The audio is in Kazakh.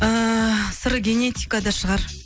ыыы сыры генетикада шығар